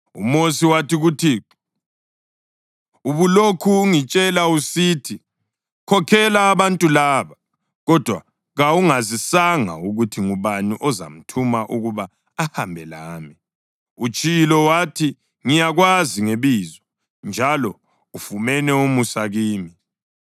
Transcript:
UMosi wathi kuThixo, “Ubulokhu ungitshela usithi, ‘Khokhela abantu laba,’ kodwa kawungazisanga ukuthi ngubani ozamthuma ukuba ahambe lami. Utshilo wathi, ‘Ngiyakwazi ngebizo, njalo ufumene umusa kimi.’